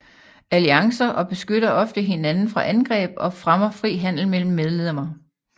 Alliancer beskytter ofte hinanden fra angreb og fremmer fri handel mellem medlemmerne